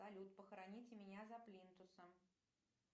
салют похороните меня за плинтусом